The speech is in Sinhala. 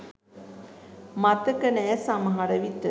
මතක නෑ සමහර විට